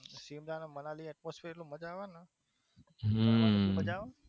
હમ